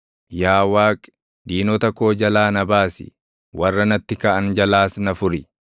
Yaa Waaqi, diinota koo jalaa na baasi; warra natti kaʼan jalaas na furi.